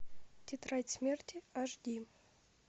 тетрадь смерти аш ди